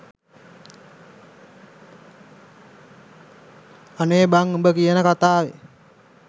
අනේ බන් උඹ කියන කථාවේ